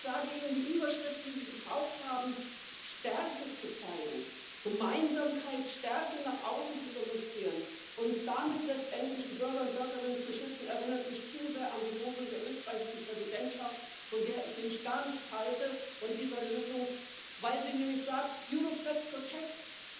Und ich sage Ihnen Die Überschrift, die Sie gebraucht haben, Stärke zu zeigen, Gemeinsamkeit, Stärke nach außen zu demonstrieren und damit letztendlich die Bürger und Bürgerinnen zu schützen, erinnert mich zu sehr an die Losung der österreichischen Präsidentschaft, von der ich nämlich gar nichts halte, von dieser Losung, weil sie nämlich sagt Europe that protects